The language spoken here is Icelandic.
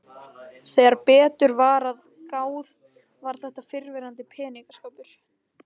Þegar betur var að gáð var þetta fyrrverandi peningaskápur.